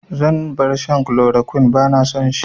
Zan bar shan kulorokwin, ba na son shi